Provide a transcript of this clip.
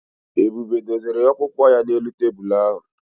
Ebube dozere akwụkwọ ya n'elu tebụlụ ahụ